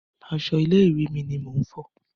Aṣọ ilé ìwé mi ni mò ń fọ̀.